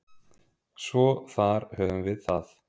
Svo þar höfum við það.